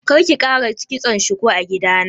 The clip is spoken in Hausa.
Karki ƙara kitson shuku a gidana.